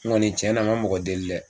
N kɔni tiɲɛna ma mɔgɔ deli dɛ.